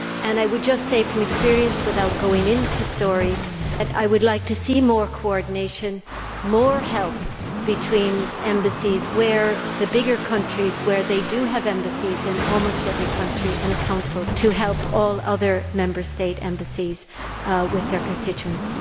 I would just say from experience that, without going into stories, I would like to see more coordination, more help between embassies in the bigger countries where they do have embassies and consuls in almost every country, so as to help all other Member State embassies with their constituents.